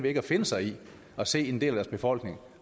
ikke at finde sig i at se en del af deres befolkning